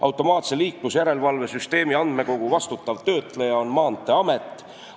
Automaatse liiklusjärelevalve süsteemi andmekogu vastutav töötleja on Maanteeamet.